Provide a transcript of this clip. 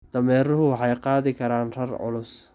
Dameeruhu waxay qaadi karaan rar culus.